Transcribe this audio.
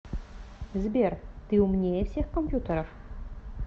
сбер ты умнее всех компьютеров